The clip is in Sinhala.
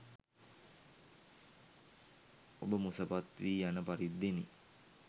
ඔබ මුසපත් වී යන පරිද්දෙනි.